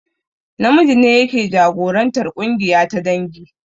Namiji ne yake jagorantar ƙungiya ta dangi